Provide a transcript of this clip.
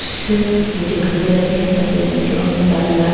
कुछ नीचे गमले रखे हैं सफेद रंग के उनमें लाल लाल--